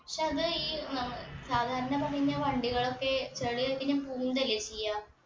പക്ഷെ അത് ഈ സാധാരണ പണിഞ്ഞ വണ്ടികളൊക്കെ ചളി ആയിറ്റിങ്ങന പൂണ്ടല്ലേ ചെയ്യാ